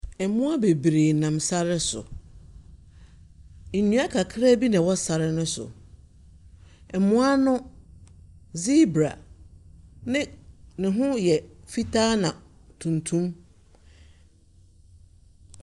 Mmoa bebree nam sare so. Nnua kakraa bi na ɛwɔ sare no so. Mmoa no, zebra ne ne ho yɛ fitaa na tuntum.